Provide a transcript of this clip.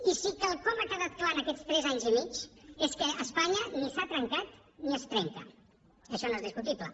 i sí quelcom ha quedat clar en aquests tres anys i mig és que espanya ni s’ha trencat ni es trenca això no és discutible